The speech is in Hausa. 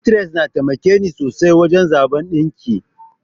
Pinterest ya taimakeni sosai wajen zaɓan ɗinki.